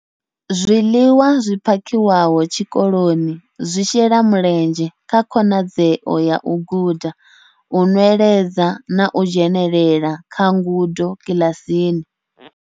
Zwiḽiwa zwi phakhiwaho tshikoloni zwi shela mulenzhe kha khonadzeo ya u guda, u nweledza na u dzhenela kha ngudo kiḽasini.